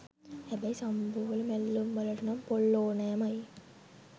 හැබැයි සම්බෝල මැල්ලුම් වලට නම් පොල් ඕනෑමයි.